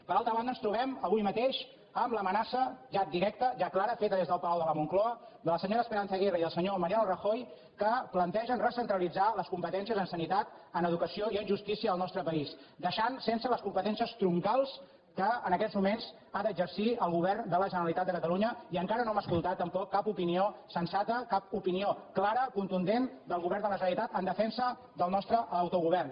per altra banda ens trobem avui mateix amb l’amenaça ja directa ja clara feta des del palau de la moncloa de la senyora esperanza aguirre i del senyor mariano rajoy que plantegen recentralitzar les competències en sanitat en educació i en justícia del nostre país deixant sense les competències troncals que en aquests moments ha d’exercir el govern de la generalitat de catalunya i encara no hem escoltat tampoc cap opinió sensata cap opinió clara contundent del govern de la generalitat en defensa del nostre autogovern